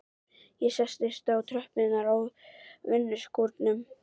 Ég settist á tröppurnar á vinnuskúrnum.